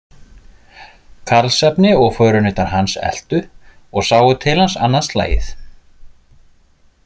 Karlsefni og förunautar hans eltu og sáu til hans annað slagið.